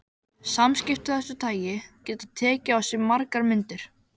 Samskipti af þessu tagi geta tekið á sig margar myndir.